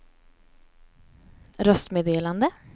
röstmeddelande